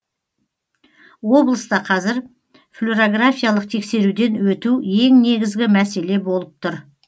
облыста қазір флюорографиялық тексеруден өту ең негізгі мәселе болып тұр